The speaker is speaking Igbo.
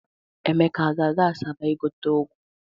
Emeka aga-aga Asaba igote ụgụ?